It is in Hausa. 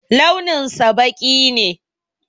Launinsa ɓaki ne.